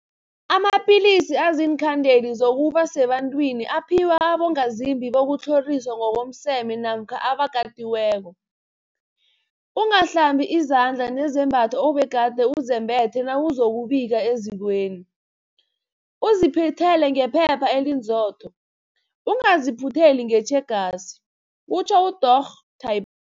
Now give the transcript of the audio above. Amapilisi aziinkhandeli zokuba sebantwini aphiwa abongazimbi bokutlhoriswa ngokomseme namkha abakatiweko. Ungahlambi izandla nezembatho obegade uzembethe nawuzokubika ezikweni, uziphuthele ngephepha elinzotho, ungaziphutheli ngetjhegasi kutjho uDorh Tip